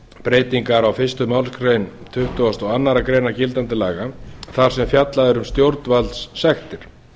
breytingar á fyrstu málsgrein tuttugustu og aðra grein gildandi laga þar sem fjallað er um stjórnvaldssektir